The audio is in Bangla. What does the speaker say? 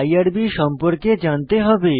আইআরবি সম্পর্কে জানতে হবে